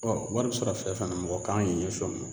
wari bi sɔrɔ fɛn fɛn na mɔgɔ kan k'i ɲɛs'o ma.